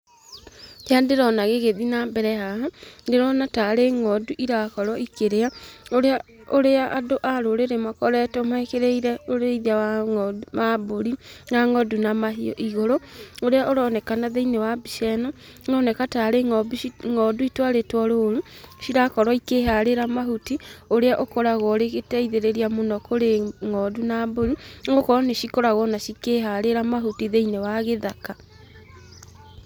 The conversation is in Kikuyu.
Kĩrĩa ndĩrona gĩgĩthiĩ na mbere haha, ndĩrona tarĩ ng'ondu irakorwo ikĩrĩa, ũrĩa andũ a rũrĩrĩ makoretwo mekĩrĩire ũrĩithia wa mbũri na ng'ondu na mahiũ igũrũ, ũrĩa ũronekana thĩinĩ wa mbica ĩno, ũroneka ta arĩ ng'ondu itwarĩtwo rũru, cirakorwo ikĩharĩra mahuti, ũrĩa ũkoragwo ũrĩ gĩteithĩrĩria mũno kũrĩ ng'ondu na mbũri, ũgakora ona nĩ cikoragwo ona cikĩharĩra mahuti thĩinĩ wa gĩthaka.